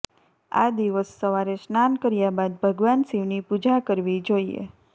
આ દિવસ સવારે સ્નાન કર્યા બાદ ભગવાન શિવની પૂજા કરવી જોઇએ